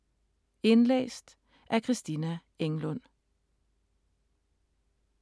Indlæst af: